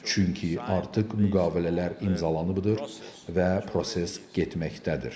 Çünki artıq müqavilələr imzalanıbdır və proses getməkdədir.